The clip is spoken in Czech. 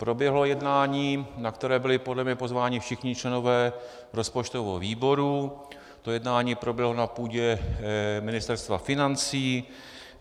Proběhlo jednání, na které byli podle mě pozváni všichni členové rozpočtového výboru, to jednání proběhlo na půdě Ministerstva financí.